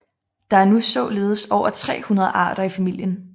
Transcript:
Der er nu således over 300 arter i familien